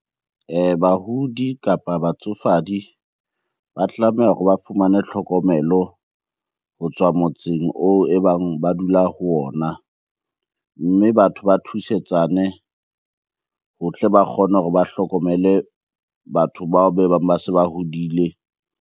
Bahudi kapa batsofadi ba tlameha hore ba fumane tlhokomelo ho tswa motseng oo e bang ba dula ho ona. Mme batho ba thusetsane ho tle ba kgone hore ba hlokomele batho bao be bang ba se ba hodile.